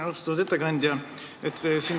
Austatud ettekandja!